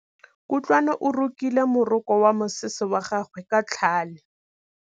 Kutlwanô o rokile morokô wa mosese wa gagwe ka tlhale.